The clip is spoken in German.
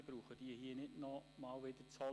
Ich brauche diese hier nicht zu wiederholen.